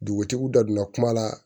Dugutigiw da donna kuma la